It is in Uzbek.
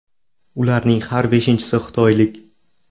Ularning har beshinchisi xitoylik.